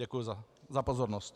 Děkuji za pozornost.